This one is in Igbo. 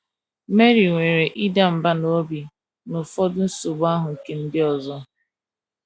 MARY nwere ịda mbà n’obi na ụfọdụ nsogbu ahụ ike ndị ọzọ.